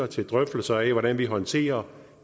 til drøftelser af hvordan vi håndterer